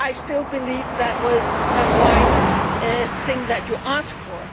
I still believe that it was a sensible thing that you asked for.